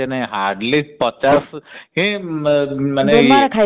ଅସି ନାହି ଅସି ନାହି hardly ପଚାଶ ମାନେ